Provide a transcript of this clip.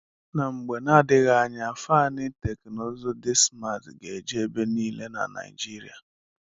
Na mgbe na-adịghị anya, faani teknụzụ dị smaat ga-eju ebe niile na Naijiria.